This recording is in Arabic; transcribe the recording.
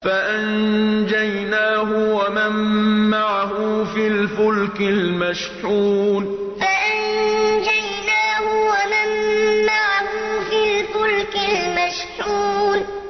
فَأَنجَيْنَاهُ وَمَن مَّعَهُ فِي الْفُلْكِ الْمَشْحُونِ فَأَنجَيْنَاهُ وَمَن مَّعَهُ فِي الْفُلْكِ الْمَشْحُونِ